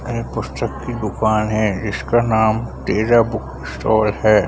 ये पुस्तक की दुकान है इसका नाम तेज बुक स्टॉल है।